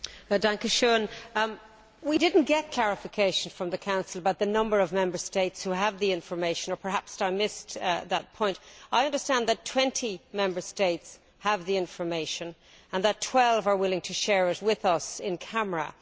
Mr President, we did not receive clarification from the Council about the number of Member States who have the information or perhaps I missed that point. I understand that 20 Member States have the information, and that 12 are willing to share it with us in camera.